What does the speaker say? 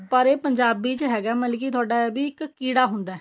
ਪਰ ਇਹ ਇਹ ਪੰਜਾਬੀ ਚ ਹੈਗਾ ਮਤਲਬ ਕਿ ਤੁਹਾਡਾ ਇੱਕ ਕੀੜਾ ਹੁੰਦਾ